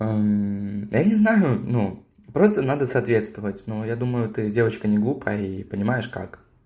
да не знаю ну просто надо соответствовать но я думаю ты девочка неглупая и понимаешь как